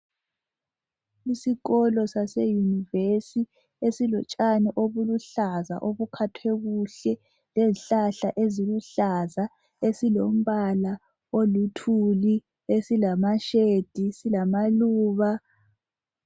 Isikolo sase yunivesithi esilotshani obuluhlaza obukhathwe kuhle lezihlahla eziluhlaza esilombala oluthuli esilama shade silamaluba.